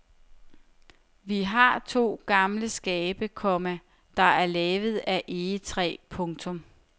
Vi har to gamle skabe, komma der er lavet af egetræ. punktum